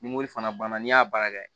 Ni mori fana banna n'i y'a baara kɛ